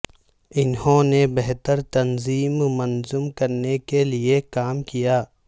انہوں نے بہتر تنظیم منظم کرنے کے لئے کام کیا